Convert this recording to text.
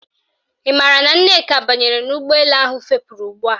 Ị maara na Nneka banyere n'ụgbọelu ahụ fepuru ugbua